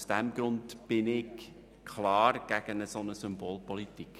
Aus diesem Grund bin ich klar gegen eine solche Symbolpolitik.